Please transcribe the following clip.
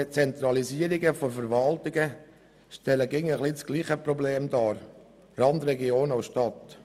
Zentralisierungen der Verwaltung stellen immer ein wenig das gleiche Problem dar: Randregionen und Stadt.